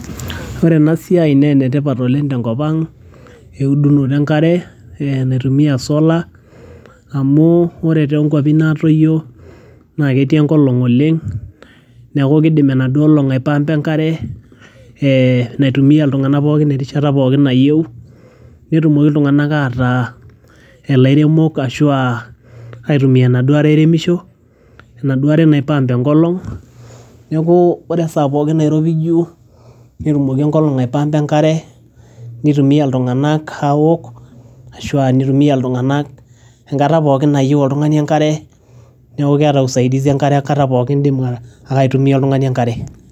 ore ena siai naa enetipat oleng tenkop ang eudunoto enkare eh, naitumia solar amu ore tonkuapi natoyio naa ketii enkolong oleng neeku kidim enaduo olong aipampa enkare eh naitumia iltung'anak pookin erishata pookin nayieu netumoki iltung'anak ataa elairemok ashua aitumia enaduo are airemisho enaduo are nae pump enkolong neeku ore esaa pookin nairowuaju netumoki enkolong aepampa enkare nitumia iltung'anak awok ashua nitumia iltung'anak enkata pookin nayieu oltung'ani enkare neku keeta usaidizi enkare enkata pookin indim ake aitumia oltung'ani enkare.